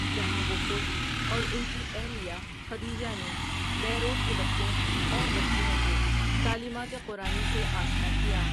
جہاں وہ خود اور اُن کی اہلیہ خدیجہ نے بیروٹ کے بچوں اور بچیوں کو تعلیمات قرآنی سے آشنا کیا ۔